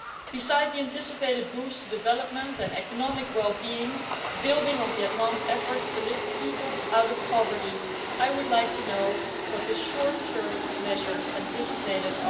Besides the anticipated boost to development and economic well being, building on Vietnam's efforts to lift people out of poverty, I would like to know what short term measures are anticipated.